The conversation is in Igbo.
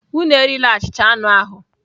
Unu erila achịcha anụ ahụ!